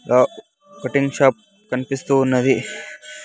ఆ cutting shop కనిపిస్తూ ఉన్నది.